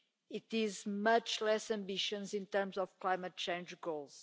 It is much less ambitious in terms of climate change goals.